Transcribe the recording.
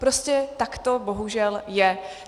Prostě tak to bohužel je.